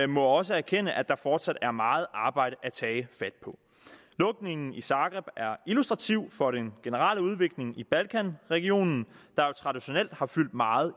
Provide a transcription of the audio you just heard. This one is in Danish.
må også erkende at der fortsat er meget arbejde at tage fat på lukningen i zagreb er illustrativ for den generelle udvikling i balkanregionen der jo traditionelt har fyldt meget